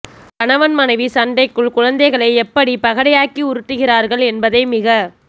கணவன் மனைவி சண்டைக்குள் குழந்தைகளை எப்படி பகடையாக்கி உருட்டுகிறார்கள் என்பதை மிக